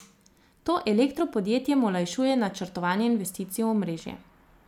To elektropodjetjem olajšuje načrtovanje investicij v omrežje.